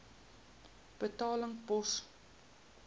betaling pos